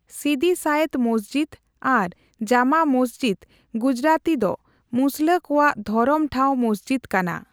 ᱥᱤᱫᱤ ᱥᱟᱭᱮᱫ ᱢᱚᱥᱡᱤᱫ ᱟᱨ ᱡᱟᱢᱟ ᱢᱚᱥᱡᱤᱫ ᱜᱩᱡᱨᱟᱛᱤ ᱫᱚ ᱢᱩᱥᱞᱟᱹ ᱠᱚᱣᱟᱜ ᱫᱷᱚᱨᱚᱢ ᱴᱷᱟᱣ ᱢᱚᱥᱡᱤᱫ ᱠᱟᱱᱟ ᱾